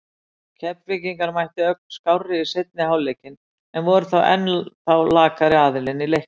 Keflvíkingar mættu ögn skárri í seinni hálfleikinn en voru þó ennþá lakari aðilinn í leiknum.